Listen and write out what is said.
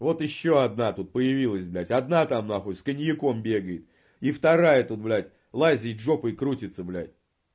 вот ещё одна тут появилась блядь одна там на хуй с коньяком бегает и вторая тут блядь лазит жопой крутится блядь